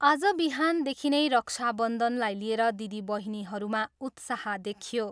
आज बिहानदेखि नै रक्षा बन्धनलाई लिएर दिदी बहिनीहरूमा उत्साह देखियो।